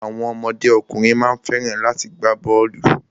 Àwọn ọmọdé ọkùnrin má ń fẹ́ràn láti gbá bọ́ọ̀lù.